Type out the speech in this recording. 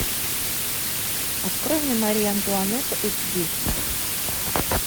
открой мне мария антуанетта эйч ди